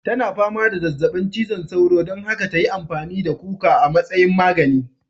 Tana fama da zazzabin cizon sauro don haka ta yi amfani da kuka a matsayin magani.